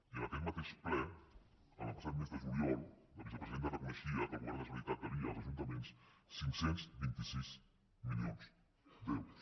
i en aquest mateix ple el passat mes de juliol la vicepresidenta reconeixia que el govern de la generalitat devia als ajuntaments cinc cents i vint sis milions d’euros